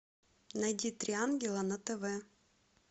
найди три ангела на тв